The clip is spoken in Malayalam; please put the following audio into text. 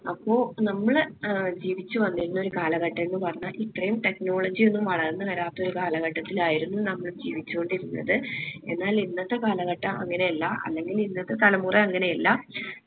അപ്പൊ നമ്മളെ ഏർ ജീവിച്ച് വന്നിരുന്നൊരു കാലഘട്ടംന്ന് പറഞ്ഞാൽ ഇത്രയും technology ഒന്നും വളർന്ന്‌ വരാത്തൊരു കാലഘട്ടത്തിലായിരുന്നു നമ്മൾ ജീവിച്ചുകൊണ്ടിരുന്നത് എന്നാൽ ഇന്നത്തെ കാലഘട്ടം അങ്ങനെയല്ല അല്ലെങ്കിൽ ഇന്നത്തെ തലമുറ അങ്ങനെയെല്ലാ